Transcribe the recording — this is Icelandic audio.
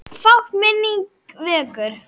Fátt, sem minning vekur.